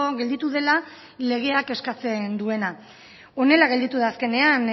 gelditu dela legeak eskatzen duena honela gelditu da azkenean